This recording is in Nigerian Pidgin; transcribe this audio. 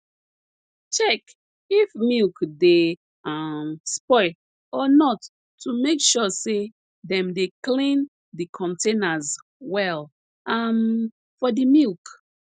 check if milk dey um spoil or not to make sure say dem dey clean de containers well um for the milk